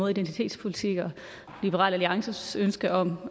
identitetspolitik og liberal alliances ønske om